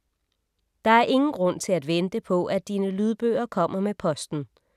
Der er ingen grund til at vente på, at dine lydbøger kommer med posten.